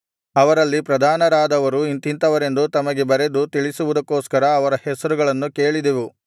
ಅವರಲ್ಲಿ ಪ್ರಧಾನರಾದವರು ಇಂಥಿಂಥವರೆಂದು ತಮಗೆ ಬರೆದು ತಿಳಿಸುವುದಕ್ಕೋಸ್ಕರ ಅವರ ಹೆಸರುಗಳನ್ನು ಕೇಳಿದೆವು